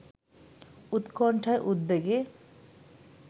উৎকণ্ঠায়, উদ্বেগে